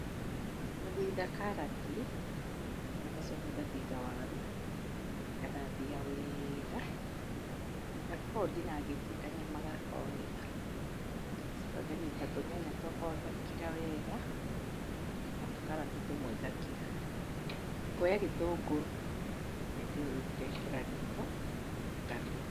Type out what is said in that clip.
Gũthitha karati, na ngacoka ngatitha waru, ngathambia wega, ngakorwo ndinangĩtie kanyama gakwa wega. Ngacoka nganyita tũnyanya twakwa ngakira wega, na tũkarati tũmwe ngakira. Ngoya gĩtũngũrũ hindĩ ĩyo rĩu ngekĩra riko ngaruga.